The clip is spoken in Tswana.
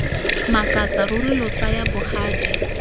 makatsa ruri lo tsaya bogadi